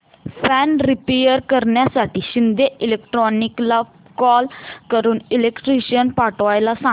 fan repair करण्यासाठी शिंदे इलेक्ट्रॉनिक्सला call करून इलेक्ट्रिशियन पाठवायला सांग